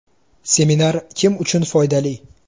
Seminar kim uchun foydali?